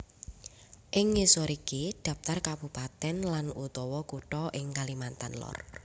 Ing ngisor iki dhaptar kabupatèn lan utawa kutha ing Kalimantan Lor